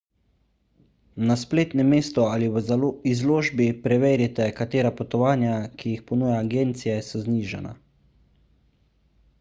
na spletnem mestu ali v izložbi preverite katera potovanja ki jih ponuja agencija so znižana